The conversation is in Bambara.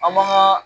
An man ka